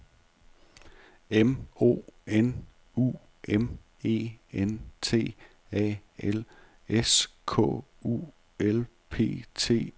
M O N U M E N T A L S K U L P T U R E R